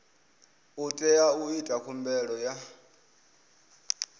tea u ita khumbelo ya